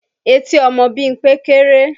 Etí ọmọ Bímpé kéré